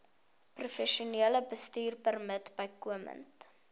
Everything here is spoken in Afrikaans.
professionele bestuurpermit bykomend